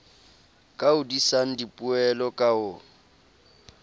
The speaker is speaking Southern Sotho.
ka hodisang dipoelo ka ho